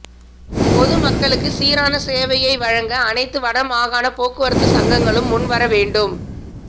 பொது மக்களுக்கு சீரான சேவையை வழங்க அனைத்து வடமாகாண போக்குவரத்து சங்கங்களும் முன்வர வேண்டும்